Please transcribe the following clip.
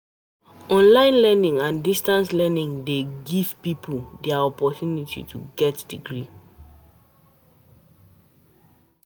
Online learning and distance learning dey give pipo di oppotunity to get degree